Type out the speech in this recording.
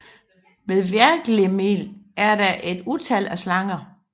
Ved Hvergelmir er der et utal af slanger